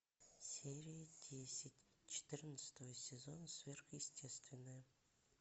серия десять четырнадцатого сезона сверхъестественное